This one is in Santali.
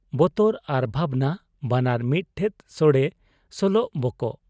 ᱵᱚᱛᱚᱨ ᱟᱨ ᱵᱷᱟᱵᱽᱱᱟ ᱵᱟᱱᱟᱨ ᱢᱤᱫ ᱴᱷᱮᱫ ᱥᱚᱲᱮ ᱥᱚᱞᱚᱜ ᱵᱚᱠᱚᱜ ᱾